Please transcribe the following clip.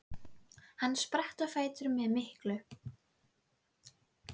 Hann spratt á fætur með miklu